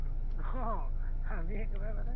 আহ আমি একেবাৰে মানে